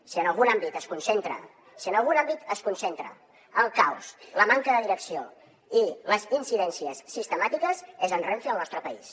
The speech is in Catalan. si en algun àmbit es concentra el caos la manca de direcció i les incidències sistemàtiques és a renfe al nostre país